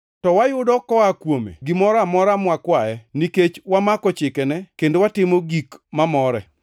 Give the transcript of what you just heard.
To wayudo koa kuome, gimoro amora mwakwaye nikech wamako chikene kendo watimo gik mamore.